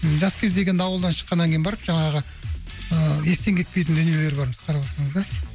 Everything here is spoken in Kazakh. жас кездегі енді ауылдан шыққаннан кейін барып жаңағы ыыы естен кетпейтін дүниелер бар қарап отырсаңыздар